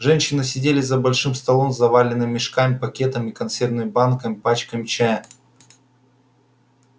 женщины сидели за большим столом заваленным мешками пакетами консервными банками пачками чая